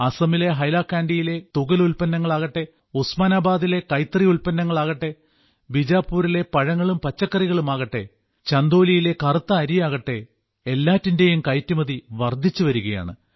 അസമിലെ ഹൈലാകാൻഡിയിലെ തുകൽ ഉല്പ്പന്നങ്ങളാകട്ടെ ഉസ്മാനാബാദിലെ കൈത്തറി ഉല്പ്പന്നങ്ങളാകട്ടെ ബീജാപുരിലെ പഴങ്ങളും പച്ചക്കറികളുമാകട്ടെ ചന്ദോലിയിലെ കറുത്ത അരിയാകട്ടെ എല്ലാറ്റിന്റെയും കയറ്റുമതി വർദ്ധിച്ചുവരികയാണ്